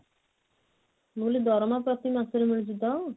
ମୁଁ କହିଲି ଦରମା ପ୍ରତି ମାସ ରେ ମିଳୁଛି ତ?